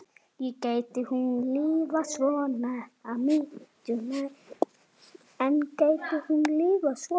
En gæti hún lifað svona?